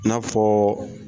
I n'a fɔ